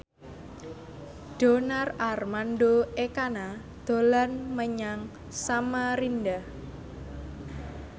Donar Armando Ekana dolan menyang Samarinda